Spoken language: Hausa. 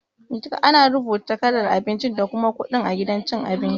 Ana rubuta kalar abinci da kuma kudin a gidan cin abinci.